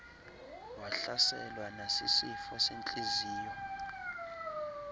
wahlaselwa nasisifo sentliziyo